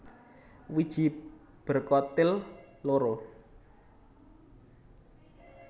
Wiji berkotil loro